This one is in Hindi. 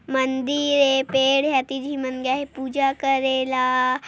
मंदिर है पेड़ है। पूजा करेला।